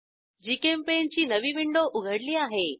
GChemPaint ची नवी window उघडली आहे